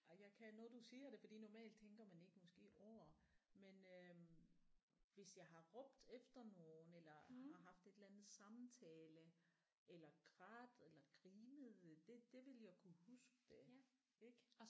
Ej jeg kan nu du siger det fordi normalt tænker man ikke måske over men øh hvis jeg har råbt efter nogen eller har haft et eller andet samtale eller grædt eller grinet det det ville jeg kunne huske det ik